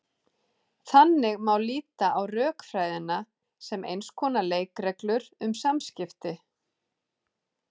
Þannig má líta á rökfræðina sem eins konar leikreglur um samskipti.